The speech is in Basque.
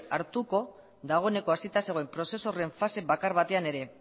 hartuko dagoeneko hasita zegoen prozesu horren fase bakar batean ere